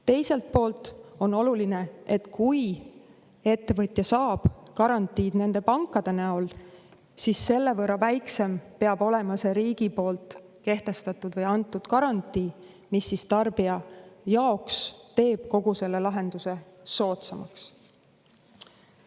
Teiselt poolt on oluline, et kui ettevõtja saab garantiid nende pankade näol, siis selle võrra väiksem saab olla riigi kehtestatud või antud garantii, mis tarbija jaoks teeb kogu lahenduse soodsamaks.